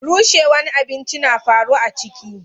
Rushewwan abinci na faru a ciki.